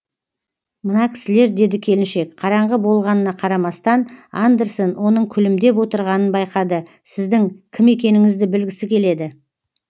мына кісілер деді келіншек қараңғы болғанына қарамастан андерсен оның күлімдеп отырғанын байқады сіздің кім екеніңізді білгісі келеді